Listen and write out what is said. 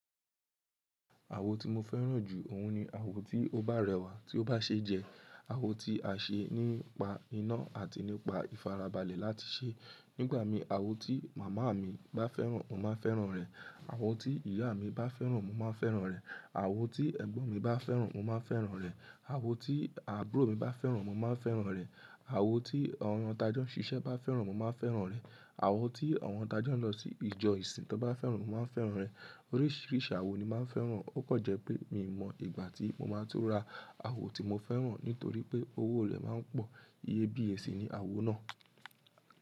Àwo tí mo fẹ́ràn jù òun ni àwo tí ó bá rẹwà, tí ó bá ṣe jẹ, àwo tí a ṣe nípa iná àti nípa ìfarabalẹ̀ láti ṣe. Nígbà mí àwo tí màmá mi bá fẹ́ràn mo máa fẹ́ràn rẹ̀, àwo tí ìyá mí bá fẹ́ràn mo máa fẹ́ràn rẹ̀, àwo tí ẹ̀gbọ́n mi bá fẹ́ràn mo máa fẹ́ràn rẹ̀, àwo tí àbúrò mi bá fẹ́ràn mo máa fẹ́ràn rẹ̀, àwo tí àwọn tajọ nsísẹ́ bá fẹ́ràn mo máa fẹ́ràn rẹ̀, àwo tí àwọn t'ajo ń lọ sí ìjọ ìsìn tán bá fẹ́ràn mo máa fẹ́ràn rẹ̀. Oríṣiríṣi àwo ni máa fẹ́ràn, ó kọ jẹ́ pé mi mọ ìgbà tí mo máa tó ra àwo tí mo fẹ́ràn nítorí pé owó rẹ̀ máa ń pọ̀, iyebíye sì ni àwo náà.